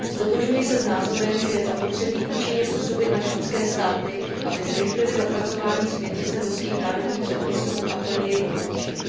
Ztotožňuji se s názorem, že je zapotřebí účinně působit na členské státy, aby zrychlily zapracování směrnice do svých národních předpisů a plně ji dokončily.